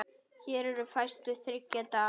Hér eru færslur þriggja daga.